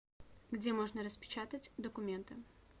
где можно распечатать документы